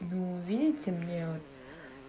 ну видите мне вот